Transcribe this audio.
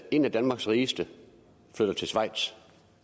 en af danmarks rigeste flytter til schweiz